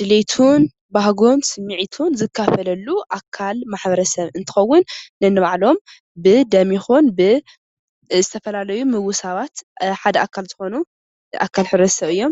ድሌቱን ባህጉን ስምዒቱን ዝካፈለሉ ኣካል ማሕበረሰብ እንትኸውን ነንባዕሎም ብደም ይኹን ብዝተፈላለዩ ምውሳባት ሓደ ኣካል ዝኾኑ ኣካል ሕብረተሰብ እዮም፡፡